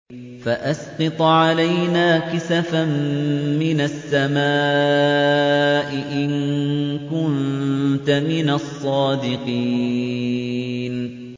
فَأَسْقِطْ عَلَيْنَا كِسَفًا مِّنَ السَّمَاءِ إِن كُنتَ مِنَ الصَّادِقِينَ